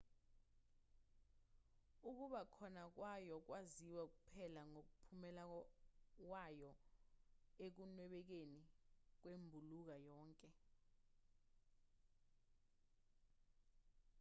ukuba khona kwayo kwaziwa kuphela ngomphumela wayo ekunwebekeni kwembulunga yonke